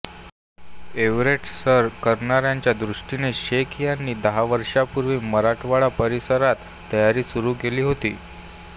Everest सर करण्याच्या दृष्टीने शेख यांनी दहा वर्षांपूर्वी मराठ्वाडा परिसरात तयारी सुरू केली होती